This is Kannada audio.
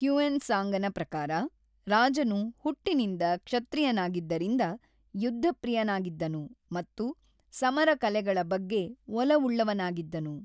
ಹ್ಯುಯೆನ್‌ ತ್ಸಾಂಗನ ಪ್ರಕಾರ, ರಾಜನು ಹುಟ್ಟಿನಿಂದ ಕ್ಷತ್ರಿಯನಾಗಿದ್ದರಿಂದ ಯುದ್ಧಪ್ರಿಯನಾಗಿದ್ದನು ಮತ್ತು 'ಸಮರ ಕಲೆಗಳ ಬಗ್ಗೆ ಒಲವುಳ್ಳವನಾಗಿದ್ದನು.